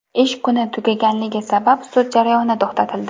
Ish kuni tugaganligi sabab sud jarayoni to‘xtatildi.